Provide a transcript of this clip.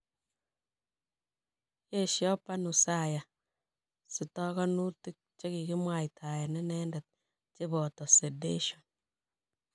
Yesho Panusaya sitokonutik che kikimwaitaen inendet, cheboto sedation.